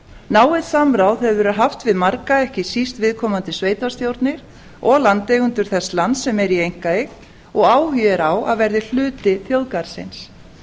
náið samráð hefur verið haft við marga ekki síst viðkomandi sveitarstjórnir og landeigendur þess lands sem er í einkaeign og áhugi er á að verði hluti þjóðgarðsins